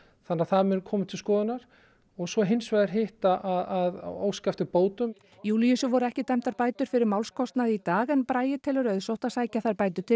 þannig að það mun koma til skoðunar og svo hins vegar hitt að óska eftir bótum Júlíusi voru ekki dæmdar bætur fyrir málskostnað í dag en Bragi telur auðsótt að sækja þær bætur til